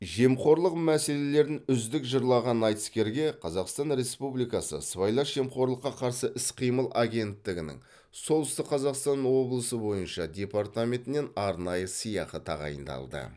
жемқорлық мәселелерін үздік жырлаған айтыскерге қазақстан республикасы сыбайлас жемқорлыққа қарсы іс қимыл агенттігінің солтүстік қазақстан облысы бойынша департаментінен арнайы сыйақы тағайындалды